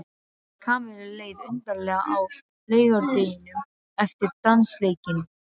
Kamillu leið undarlega á laugardeginum eftir dansleikinn.